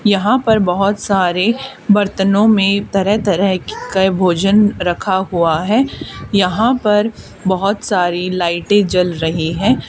यहां पर बहुत सारे बर्तनों में तरह तरह के भोजन रखा हुआ है यहां पर बहुत सारी लाइटे जल रही है।